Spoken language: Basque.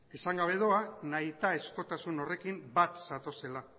esan gabe doa nahitaezkotasun horrekin bat zatozela